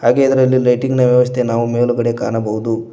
ಹಾಗೆ ಇದರಲ್ಲಿ ಲೈಟಿಂಗ್ ನ ವ್ಯವಸ್ಥೆ ನಾವು ಮೇಲುಗಡೆ ಕಾಣಬಹುದು.